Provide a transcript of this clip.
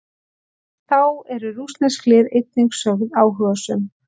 Þá eru rússnesk lið einnig sögð áhugasöm.